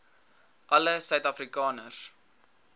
alle suid afrikaners